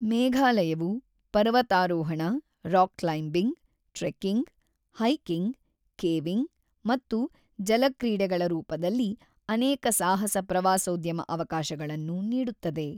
ಮೇಘಾಲಯವು ಪರ್ವತಾರೋಹಣ, rock climbing, trekking, hiking, caving ಮತ್ತು ಜಲ ಕ್ರೀಡೆಗಳ ರೂಪದಲ್ಲಿ ಅನೇಕ ಸಾಹಸ ಪ್ರವಾಸೋದ್ಯಮ ಅವಕಾಶಗಳನ್ನು ನೀಡುತ್ತದೆ.